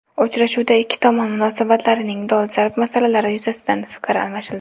Uchrashuvda ikki tomon munosabatlarining dolzarb masalalari yuzasidan fikr almashildi.